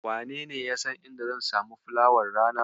Wanene yasan inda zan samu fulawar rana?